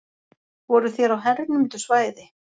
Voruð þér á hernumdu svæði?